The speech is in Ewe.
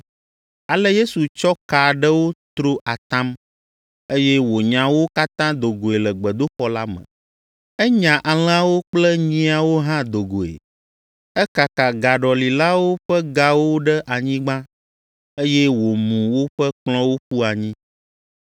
Ale Yesu tsɔ ka aɖewo tro atam, eye wònya wo katã do goe le gbedoxɔ la me. Enya alẽawo kple nyiawo hã do goe, ekaka gaɖɔlilawo ƒe gawo ɖe anyigba, eye wòmu woƒe kplɔ̃wo ƒu anyi.